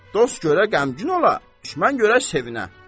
Dost görə qəmgin ola, düşmən görə sevinə.